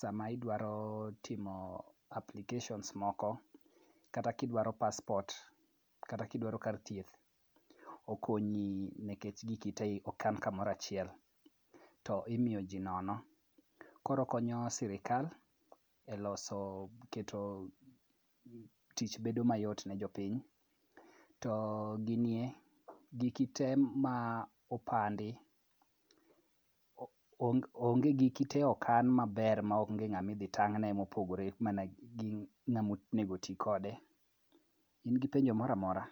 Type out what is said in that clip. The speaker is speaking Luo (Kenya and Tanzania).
sama idwaro timo applications moko kata kidwaro passport kata kidwaro kar thieth, okonyi nikech giki te okan kamoro achiel to imiyoji nono. Koro okonyo sirikal e keto tich bedo mayot ne jopiny, to gini e ,giki te ma opandi, onge, giki te okan maber maonge ng'ama idhi tang'ne mopogore mana gi ng'ama onego oti kode. In gi penjo mora kora.